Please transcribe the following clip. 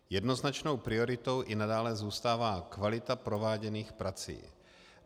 Jednoznačnou prioritou i nadále zůstává kvalita prováděných prací.